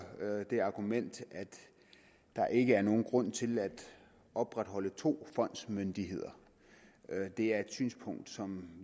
det argument at der ikke er nogen grund til at opretholde to fondsmyndigheder det er et synspunkt som